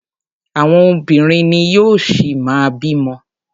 Àwọn obìnrin ni yóò ṣi má bí ọmọ.